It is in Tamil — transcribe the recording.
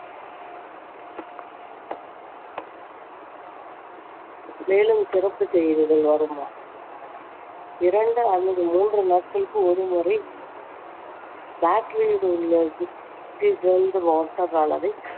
மேலும் சிறப்பு செய்திகள் வருமாறு இரண்டு அல்லது மூன்று நாட்களுக்கு ஒரு முறை battery யில் உள்ள distilled water அளவை